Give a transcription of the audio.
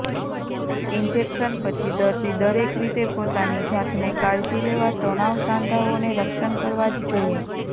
injection પછી દર્દી દરેક રીતે પોતાની જાતને કાળજી લેવા તણાવ સાંધાઓને રક્ષણ કરવા જ જોઈએ